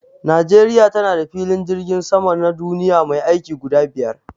Najeriya tana da filin jirgin sama na duniya mai aiki guda biyar.